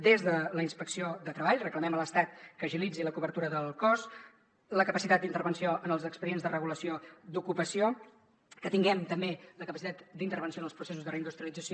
des de la inspecció de treball reclamem a l’estat que agilitzi la cobertura del cos la capacitat d’intervenció en els expedients de regulació d’ocupació que tinguem també la capacitat d’intervenció en els processos de reindustrialització